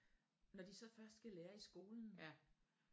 Når de så først skal lære i skolen